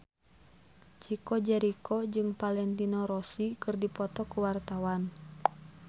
Chico Jericho jeung Valentino Rossi keur dipoto ku wartawan